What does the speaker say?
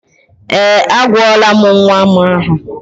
Ee, agụọla m nnwa m aha